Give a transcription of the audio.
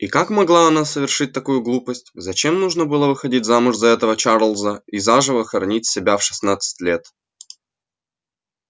и как могла она совершить такую глупость зачем нужно было выходить замуж за этого чарлза и заживо хоронить себя в шестнадцать лет